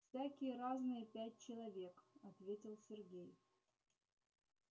всякие разные пять человек ответил сергей